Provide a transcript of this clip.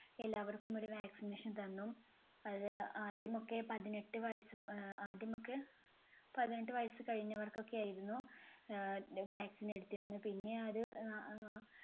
എല്ലാവർക്കും ഒരു vaccination തന്നു. അത് ആദ്യമൊക്കെ പതിനെട്ട് വയസ്സ് ആഹ് ആദ്യമൊക്കെ പതിനെട്ട് വയസ്സ് കഴിഞ്ഞവർക്കൊക്കെ ആയിരുന്നു ആഹ് vaccine എടുത്തിരുന്നത്. പിന്നെ അത് ആഹ് അഹ്